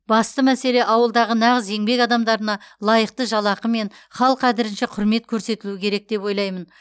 басты мәселе ауылдағы нағыз еңбек адамдарына лайықты жалақы мен хал қадірінше құрмет көрсетілу керек деп ойлаймын